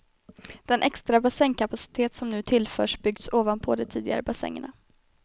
Den extra bassängkapacitet som nu tillförs byggs ovanpå de tidigare bassängerna.